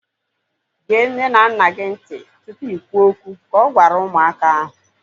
Gee nne na nna gị ntị tụpụ i kwuo okwu! Ka ọ gwara ụmụaka ahu